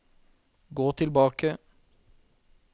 gå tilbake